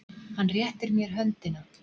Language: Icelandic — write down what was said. Hann réttir mér höndina.